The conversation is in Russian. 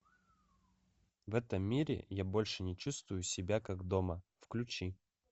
в этом мире я больше не чувствую себя как дома включи